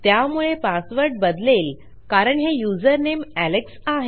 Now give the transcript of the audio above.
त्यामुळे पासवर्ड बदलेल कारण हे युजर नेम एलेक्स आहे